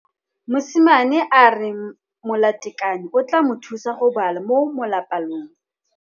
Mosimane a re molatekanyô o tla mo thusa go bala mo molapalong.